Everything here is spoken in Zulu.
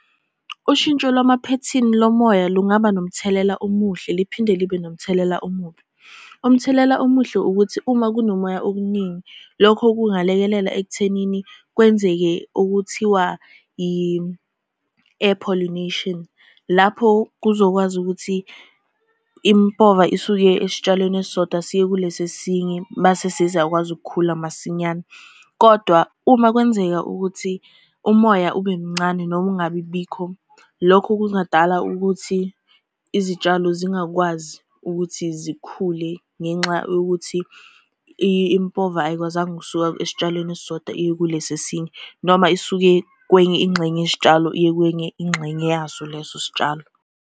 Ushintsho lwamaphethini lomoya lungaba nomthelela omuhle liphinde libe nomthelela omubi. Umthelela omuhle ukuthi uma kunomoya okuningi, lokho kungalekelela ekuthenini kwenzeke okuthiwa i-air pollination. Lapho kuzokwazi ukuthi impova isuke esitshalweni esisodwa siye kulesi esinye, mase seziyakwazi ukukhula masinyane, kodwa uma kwenzeka ukuthi umoya ube mncane noma ungabibikho. Lokho kungadala ukuthi izitshalo zingakwazi ukuthi zikhule ngenxa yokuthi impova ayikwazanga ukusuka esitshalweni esisodwa iye kulesi esinye, noma isuke kwenye ingxenye yesitshalo iye kwenye ingxenye yaso leso sitshalo.